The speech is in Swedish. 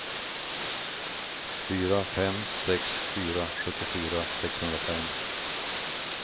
fyra fem sex fyra sjuttiofyra sexhundrafem